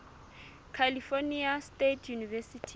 california state university